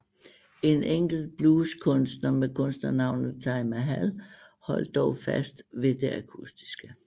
En enkelt blueskunstner med kunstnernavnet Taj Mahal holdt dog holdt fast ved det akustiske